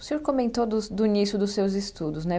O senhor comentou dos do início dos seus estudos, né?